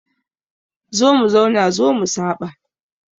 Zo mu zauna zo mu saɓa